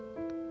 Akşenesey.